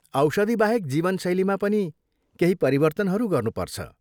औषधिबाहेक जीवनशैलीमा पनि केही परिवर्तनहरू गर्नुपर्छ ।